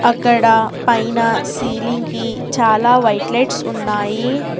అక్కడ పైన సీలింగ్ కి చాలా వైట్ లైట్స్ ఉన్నాయి.